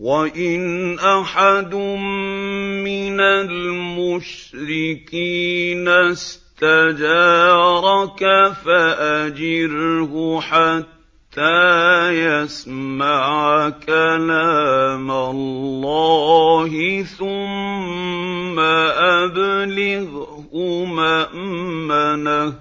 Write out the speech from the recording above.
وَإِنْ أَحَدٌ مِّنَ الْمُشْرِكِينَ اسْتَجَارَكَ فَأَجِرْهُ حَتَّىٰ يَسْمَعَ كَلَامَ اللَّهِ ثُمَّ أَبْلِغْهُ مَأْمَنَهُ ۚ